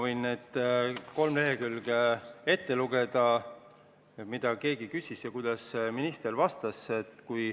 Ma võin need kolm lehekülge ette lugeda, et oleks teada, mida keegi küsis ja kuidas minister vastas.